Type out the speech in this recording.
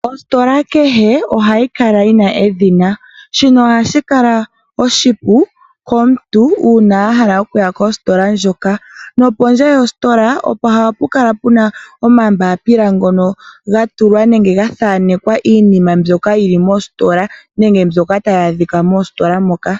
Ositola kehe ohayi kala yi na edhina. Shino ohashi kala oshipu komuntu uuna a hala okuya kositola ndjoka. Nopondje yositola ohapu kala pu na omambaapila ngono ga tulwa nenge ga thaanekwa iinima mbyoka yi li mositola nenge mbyoka tayi adhika mositola moka.